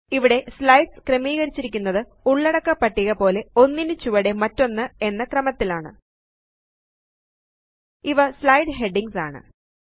ഇവിടെ സ്ലൈഡ്സ് ക്രമീകരിച്ചിരിക്കുന്നത് ഉള്ളടക്ക പട്ടിക പോലെ ഒന്നിനു ചുവടെ മറ്റൊന്ന് എന്ന ക്രമത്തിലാണ് ഇവ സ്ലൈഡ് ഹെഡിംഗ്സ് ആണ്